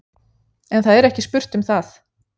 En það er ekki spurt um það.